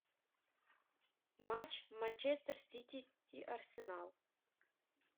матч манчестер сити и арсенал